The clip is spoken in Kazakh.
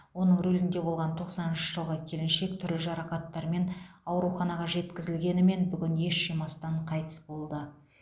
оның рулінде болған тоқсаныншы жылғы келіншек түрлі жарақаттармен ауруханаға жеткізілгенімен бүгін ес жимастан қайтыс болды